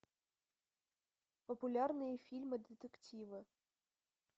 популярные фильмы детективы